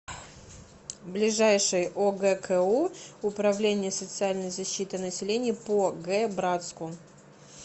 ближайший огку управление социальной защиты населения по г братску